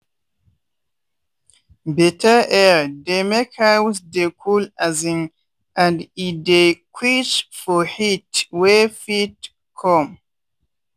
better air dey make house dey cool um and e dey quench for heat wey fit come.